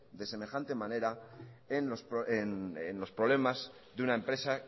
de semejante manera en los problemas de una empresa